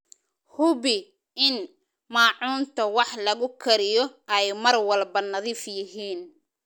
Hubi in maacuunta wax lagu kariyo ay mar walba nadiif yihiin.